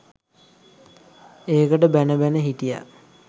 ඒකට බැණ බැණ හිටියා